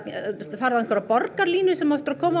farðu á einhverja borgarlínu sem á eftir að koma